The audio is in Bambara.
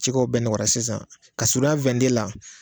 Cikɛw bɛɛ nɔgɔyara sisan ka suruɲɛn la.